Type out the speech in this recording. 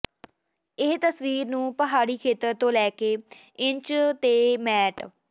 ਇਹ ਤਸਵੀਰ ਨੂੰ ਪਹਾੜੀ ਖੇਤਰ ਤੋਂ ਲੈ ਕੇ ਇੰਚ ਤੇ ਮੈਟ